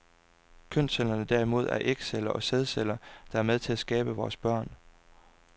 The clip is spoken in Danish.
Kønscellerne derimod er ægceller og sædceller, der er med til at skabe vores børn.